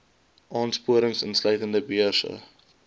aansporings insluitende beurse